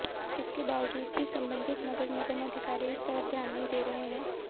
इसके बावजूद भी संबंधित नगर निगम अधिकारी इस तरफ ध्यान नहीं दे रहे हैं